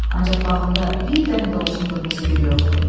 Ancaq bağımda bir dənə də olsun qırmızı gül yoxdur.